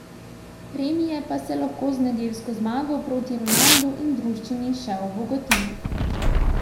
Premije pa se lahko z nedeljsko zmago proti Ronaldu in druščini še obogatijo.